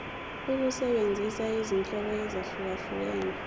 ukusebenzisa izinhlobo ezahlukehlukene